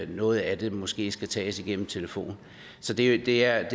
noget af den måske skal gives igennem en telefon så det det er